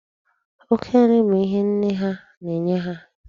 Oke nri bụ ihe nne ha na-enye ha.